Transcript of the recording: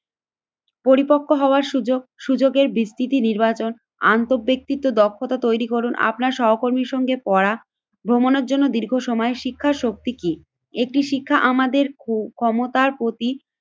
পরিপক্ক হওয়ার সুযোগ সুযোগের বিস্তৃতি নির্বাচন আন্ত ব্যক্তিকে দক্ষতা তৈরি করুন। আপনার সহকর্মীর সঙ্গে পড়া ভ্রমনের জন্য দীর্ঘ সময় শিক্ষার শক্তি কি? একটি শিক্ষা আমাদের ক্ষক্ষমতার প্রতি